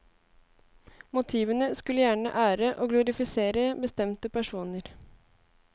Motivene skulle gjerne ære og glorifisere bestemte personer.